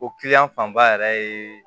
O fanba yɛrɛ ye